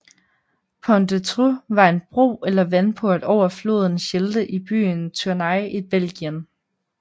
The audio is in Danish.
Pont des Trous var en bro eller vandport over floden Schelde i byen Tournai i Belgien